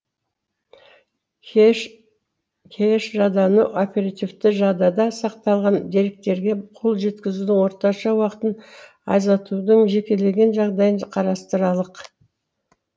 кэш жадыны оперативті жадыда сақталған деректерге қол жеткізудің орташа уақытын азайтудың жекелеген жағдайын қарастыралық